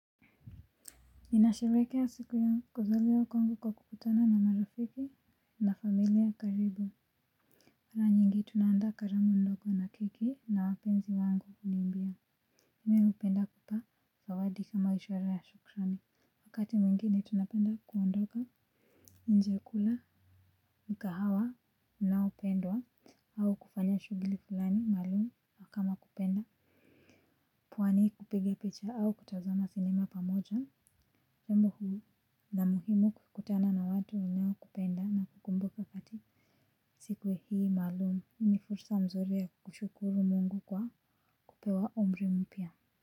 Ninasherekea siku ya kuzuliwa kwangu kwa kukutana na marafiki na familia karibu mara nyingi tunaanda karamu ndogo na keki na wapenzi wangu kunimbia. Mimi hupenda kupa zawadi kama ishwara ya shukrani. Wakati mwingine tunapenda kuondoka nje kula mkahawa unaopendwa au kufanya shughuli fulani maalum kama kupenda Pwani kupiga picha au kutazama cinema pamoja. Jambo hii na muhimu kukutana na watu wanao kupenda na kukumbuka katika siku hii maalumu ni fursa nzuri ya kushukuru mungu kwa kupewa umri mpya.